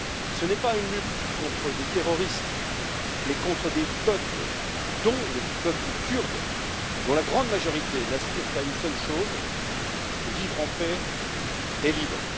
Ce n'est pas une lutte contre des terroristes, mais contre des peuples, dont le peuple kurde, dont la grande majorité n'aspire qu'à une seule chose vivre en paix et libre.